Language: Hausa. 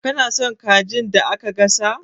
Kana son kajin da aka gasa?